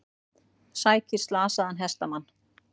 Sækir slasaðan hestamann